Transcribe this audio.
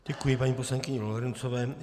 Děkuji paní poslankyni Lorencové.